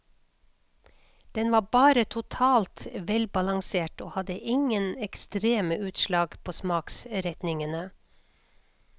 Den var bare totalt velbalansert og hadde ingen ekstreme utslag på smaksretningene.